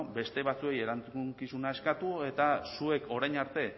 beste batzuei erantzukizuna eskatu eta zuek orain arte